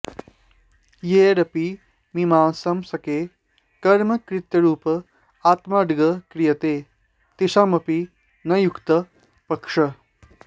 यैरपि मीमांसकैः कर्मकर्तृरूप आत्माऽङ्गीक्रियते तेषामपि न युक्तः पक्षः